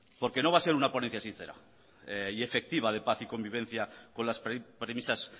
porque no va a ser un ponencia sincera y efectiva de paz y convivencia con las premisas